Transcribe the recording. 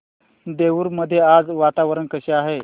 देऊर मध्ये आज वातावरण कसे आहे